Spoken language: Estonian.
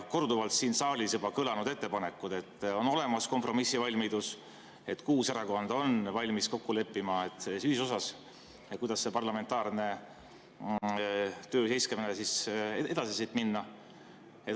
Korduvalt on siin saalis juba kõlanud ettepanekud, et on olemas kompromissivalmidus, kuus erakonda on valmis kokku leppima selles ühisosas, kuidas sellest parlamentaarse töö seiskumisest edasi minna.